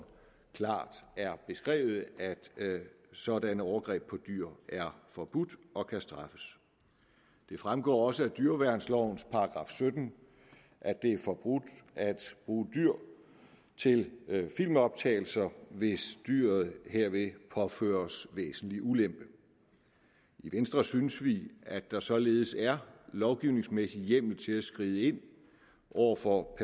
klart er beskrevet at sådanne overgreb på dyr er forbudt og kan straffes det fremgår også af dyreværnsloven § sytten at det er forbudt at bruge dyr til filmoptagelser hvis dyret herved påføres væsentlig ulempe i venstre synes vi at der således er lovgivningsmæssig hjemmel til at skride ind over for